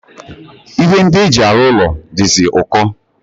Ihe ndi eji aru ulo dizi uko